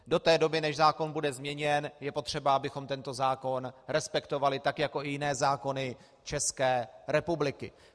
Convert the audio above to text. Do té doby, než zákon bude změněn, je potřeba, abychom tento zákon respektovali, tak jako i jiné zákony České republiky.